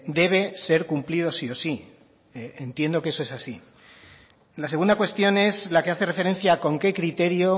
debe ser cumplido sí o sí entiendo que eso es así la segunda cuestión es la que hace referencia a con qué criterio